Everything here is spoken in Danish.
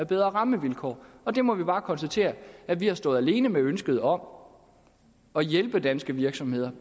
bedre rammevilkår vi må bare konstatere at vi har stået alene med ønsket om at hjælpe danske virksomheder